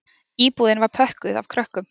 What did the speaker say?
Íbúðin var pökkuð af krökkum